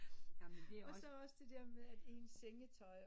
Og så også det der med at ens sengetøj